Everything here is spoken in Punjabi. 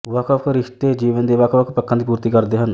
ਵੱਖਵੱਖ ਰਿਸ਼ਤੇ ਜੀਵਨ ਦੇ ਵੱਖਵੱਖ ਪੱਖਾਂ ਦੀ ਪੂਰਤੀ ਕਰਦੇ ਹਨ